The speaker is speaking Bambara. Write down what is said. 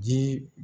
Jii